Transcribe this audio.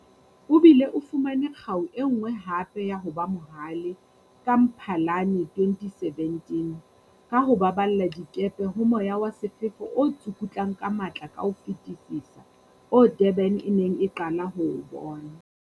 O bile o fumane kgau e nngwe hape ya "ho ba mo hale" ka Mphalane 2017, ka ho baballa dikepe ho moya wa sefefo o tsukutlang ka matla ka ho fetisisa oo Durban e neng e qala ho o bona.